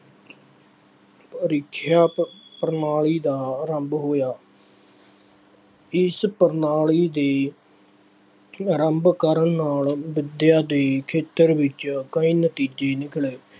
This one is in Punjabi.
ਪ੍ਰੀਖਿਆ ਪ ਪ੍ਰਣਾਲੀ ਦਾ ਆਰੰਭ ਹੋਇਆ। ਇਸ ਪ੍ਰਣਾਲੀ ਦੇ ਆਰੰਭ ਕਰਨ ਨਾਲ ਵਿੱਦਿਆ ਦੇ ਖੇਤਰ ਵਿੱਚ ਕਈ ਨਤੀਜੇ ਨਿਕਲੇ।